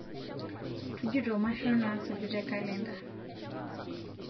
tujuto mashon nasuju te kalenda